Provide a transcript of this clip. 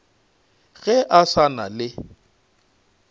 ge a sa na le